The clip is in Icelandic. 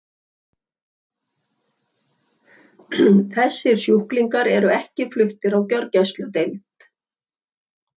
Þessir sjúklingar eru ekki fluttir á gjörgæsludeild.